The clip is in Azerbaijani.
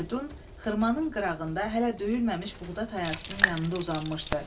Firidun xırmanın qırağında hələ döyülməmiş buğda tayasının yanında uzanmışdı.